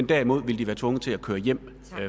derimod ville være tvunget til at køre hjem